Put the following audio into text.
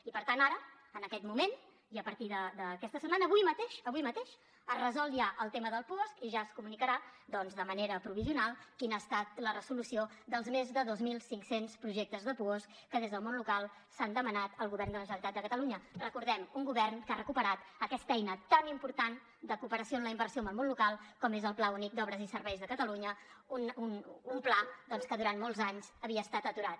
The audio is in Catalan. i per tant ara en aquest moment i a partir d’aquesta setmana avui mateix avui mateix es resol ja el tema del puosc i ja es comunicarà doncs de manera provisional quina ha estat la resolució dels més de dos mil cinc cents projectes de puosc que des del món local s’han demanat al govern de la generalitat de catalunya ho recordem un govern que ha recuperat aquesta eina tan important de cooperació en la inversió amb el món local com és el pla únic d’obres i serveis de catalunya un pla doncs que durant molts anys havia estat aturat